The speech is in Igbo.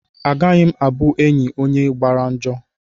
Agaghị m abụ enyị onye gbara njọ.